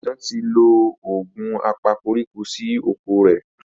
Sesan tí lọ Òògùn apakoríko sí okọ̀ rẹ.